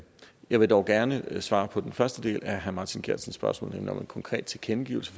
jeg vil dog gerne svare på den første del af herre martin geertsen spørgsmål nemlig om en konkret tilkendegivelse